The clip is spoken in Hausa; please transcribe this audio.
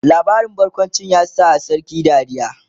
labarin barkawncin ya sa sarkin dariya?